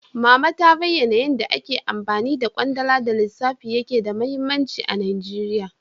Mama ta bayana yanda ake amfani da kwandala da lissafi yake da mahimmanci a Najeriya.